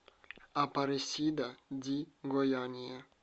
апаресида ди гояния